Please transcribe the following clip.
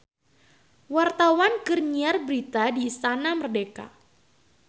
Wartawan keur nyiar berita di Istana Merdeka